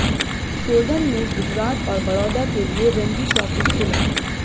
शोधन ने गुजरात और बड़ौदा के लिए रणजी ट्रॉफी खेला